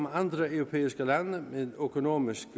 andre europæiske lande med økonomisk